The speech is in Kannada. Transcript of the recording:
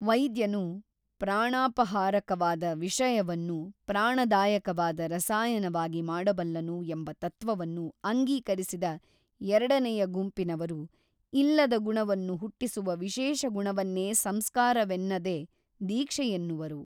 ವೈದ್ಯನು ಪ್ರಾಣಾಪಹಾರಕವಾದ ವಿಷಯವನ್ನು ಪ್ರಾಣದಾಯಕವಾದ ರಸಾಯನವಾಗಿ ಮಾಡಬಲ್ಲನು ಎಂಬ ತತ್ವವನ್ನು ಅಂಗೀಕರಿಸಿದ ಎರಡನೆಯ ಗುಂಪಿನವರು ಇಲ್ಲದ ಗುಣವನ್ನು ಹುಟ್ಟಿಸುವ ವಿಶೇಷ ಗುಣವನ್ನೇ ಸಂಸ್ಕಾರವೆನ್ನದೆ ದೀಕ್ಷೆಯೆನ್ನುವರು.